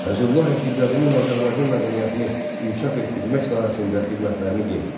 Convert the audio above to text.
Fəzlullah Rəşidəddinin Azərbaycan mədəniyyətini inkişaf etdirmək sahəsində xidmətlərini qeyd etdi.